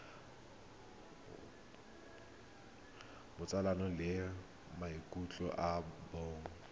botsalano le maikutlo a bong